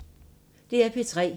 DR P3